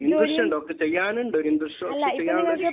Interest ഉണ്ട്. ചെയ്യാനുണ്ട് interest. ഇപ്പോൾ ചെയ്യാൻ വേണ്ടിയിട്ട്